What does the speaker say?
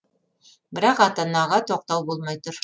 бірақ ата анаға тоқтау болмай тұр